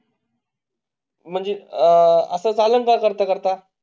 म्हणजे आह कसं चालेल ना करता करता?